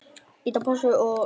Hæ sagði ég.